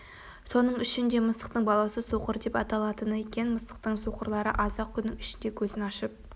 соның үшін де мысықтың баласы соқыр деп аталынады екен мысықтың соқырлары аз-ақ күннің ішінде көзін ашып